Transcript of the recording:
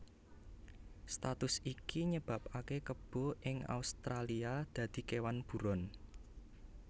Status iki nyebabaké kebo ing Australia dadi kéwan buron